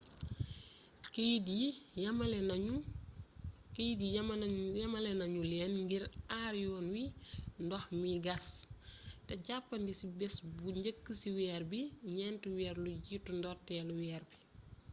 keeyit yi yamalé nañu leen ngir aar yoon wi ndox mi gas té jàppandi ci bés bu njëkk ci weer bi ñenti weer lu jiitu ndortéelu weer bi